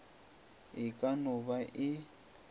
e ka no ba e